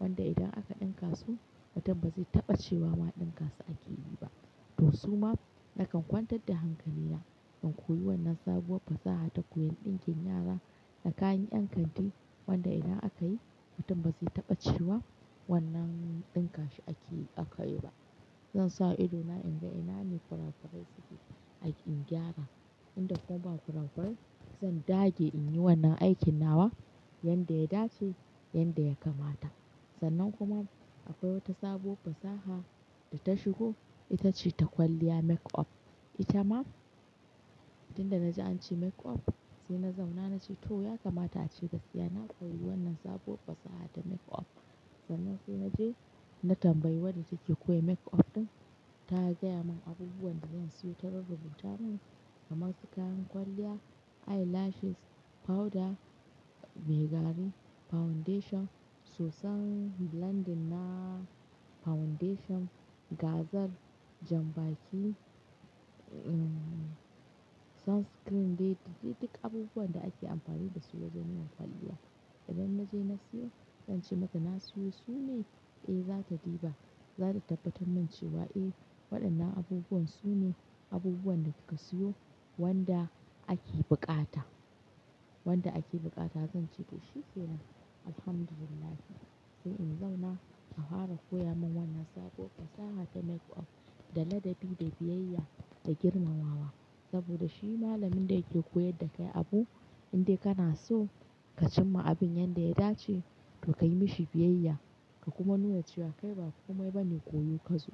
wanda idan aka ɗinka su, mutum ba zai taɓa cewa ma ɗinka su ake yi ba. To su ma, nakan kwantar da hankali na, in koyi wannan sabuwar fasaha ta koyan ɗinkin yara, da kayan ƴan kanti, wanda idan aka yi, mutum ba zai taɓa cewa wannan ɗinka shi ake yi aka yi ba. Zan sa ido na in ga ina ne kwarakurai suke a in gyara. Inda kuma ba ƙurakurai, zan dage in yi wannan aikin nawa, yanda ya dace, yanda ya kamata. Sannan kuma akwai wata sabuwar fasaha, da ta shigo, ita ce ta kwalliya makeup. Ita ma tinda naji an ce makeup, sai na zauna na ce to ya kamata ce gaskiya na koyi wannan sabuwar fasaha ta makeup. Sannan sai na je, na tambayi wadda take koyan makeup ɗin, ta gaya mun abubuwan da zan siyo ta rurrubuta mun, kamar su kayan kwalliya, eyelashes, powder me gari, foundation, sosan blending na, foundation, gazal, jambaki, em, sunscreen, dai duk abubuwan da ake amfani da su wajen yin kwalliya. Idan na je na siyo, zan ce mata na siyo, su ne? Eh za ta diba, za ta tabbatar mun cewa eh waɗannan abubuwan su ne, abubuwan da kika siyo wanda ake buƙata. Wanda ake buƙata, zan ce to shi kenan. Alhamdulillah. Sai in zauna a hwara koya mun wannan sabuwar fasaha ta makeup, da ladabi, da biyayya, da girmama wa. Saboda shi ma malamin da yake koyar da kai abu, in dai ka naso, ka cimma abin yanda ya dace, to ka yi mashi biyayya, ka kuma nuna cewa kai ba kumai bane koyo kazo.